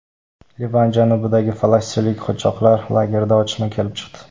Livan janubidagi falastinlik qochoqlar lagerida otishma kelib chiqdi.